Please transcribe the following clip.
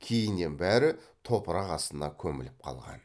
кейіннен бәрі топырақ астына көміліп қалған